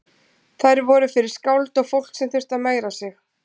Þær voru fyrir skáld og fólk sem þurfti að megra sig.